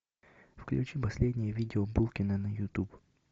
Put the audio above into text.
включи последнее видео булкина на ютуб